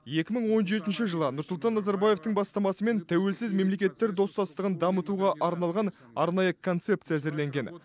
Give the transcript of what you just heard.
екі мың он жетінші жылы нұрсұлтан назарбаевтың бастамасымен тәуелсіз мемлекеттер достастығын дамытуға арналған арнайы концепция әзірленген